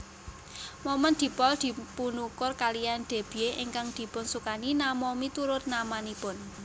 Momen dipol dipunukur kaliyan debye ingkang dipunsukani nama miturut namanipun